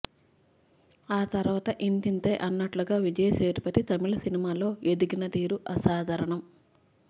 ఆ తర్వాత ఇంతింతై అన్నట్లుగా విజయ్ సేతుపతి తమిళ సినిమాల్లో ఎదిగిన తీరు అసాధారణం